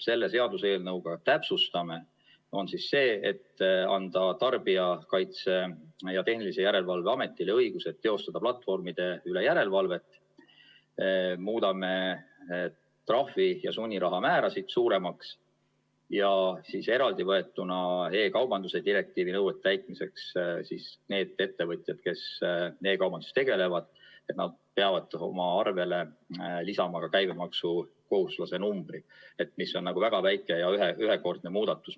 Selle seaduseelnõuga täpsustame seda, et anname Tarbijakaitse ja Tehnilise Järelevalve Ametile õiguse teostada platvormide üle järelevalvet, muudame trahvi ja sunniraha määrasid suuremaks ja eraldi võetuna e-kaubanduse direktiivi nõuete täitmiseks need ettevõtjad, kes e-kaubanduses tegutsevad, peavad oma arvele lisama käibemaksukohustuslase numbri, mis on väga väike ja ühekordne muudatus.